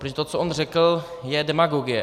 Protože to, co on řekl, je demagogie.